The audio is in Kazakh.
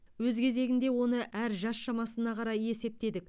өз кезегінде оны әр жас шамасына қарай есептедік